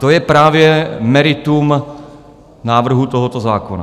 To je právě meritum návrhu tohoto zákona.